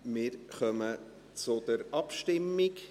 Wir kommen zur Abstimmung.